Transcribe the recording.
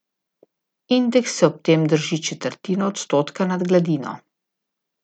Indeks se ob tem drži četrtino odstotka nad gladino.